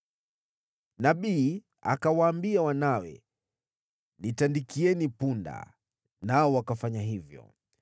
Nabii akawaambia wanawe, “Nitandikieni punda,” nao wakafanya hivyo.